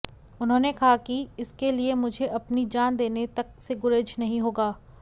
उन्होंने कहा कि इसके लिए मुझे अपनी जान देने तक से गुरेज नहीं होगा